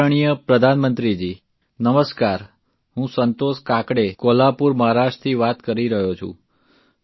આદરણીય પ્રધાનમંત્રીજી નમસ્કાર હું સંતોષ કાકડે કોલ્હાપુર મહારાષ્ટ્રથી વાત કરી રહ્યો છું